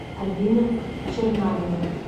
альбина чернавина